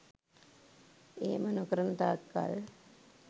එහෙම නොකරන තාක් කල්